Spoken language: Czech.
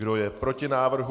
Kdo je proti návrhu?